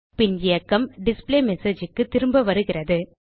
பின் இயக்கம் displayMessageக்கு திரும்ப வருகிறது